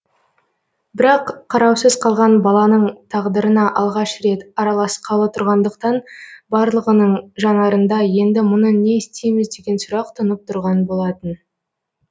бірақ қараусыз қалған баланың тағдырына алғаш рет араласқалы тұрғандықтан барлығының жанарында енді мұны не істейміз деген сұрақ тұнып тұрған болатын